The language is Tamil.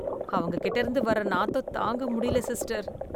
அவங்க கிட்ட இருந்து வர நாத்தம் தாங்க முடியல சிஸ்டர்